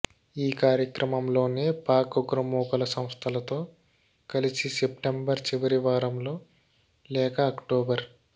ఈ క్రమంలోనే పాక్ ఉగ్రమూకల సంస్థలతో కలిసి సెస్టెంబర్ చివరి వారంలో లేక అక్టోబర్